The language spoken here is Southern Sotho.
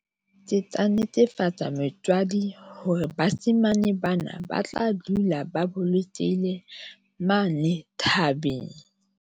Ke tla netefatsa motswadi hore bashemane bana ba tla dula ba bolokehile mane thabeng.